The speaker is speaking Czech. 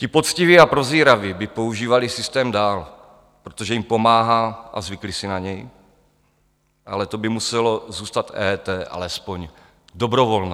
Ti poctiví a prozíraví by používali systém dál, protože jim pomáhá a zvykli si na něj, ale to by muselo zůstat EET alespoň dobrovolné.